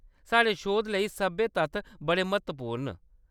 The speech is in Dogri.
साढ़े शोध लेई सब्भै तत्थ बड़े म्हत्वपूर्ण न।